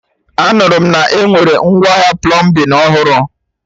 Anụrụ m na-enwere ngwaahịa plọmbin ọhụrụ